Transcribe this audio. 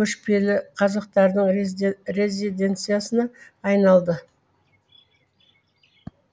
көшпелі қазақтардың резиденциясына айналды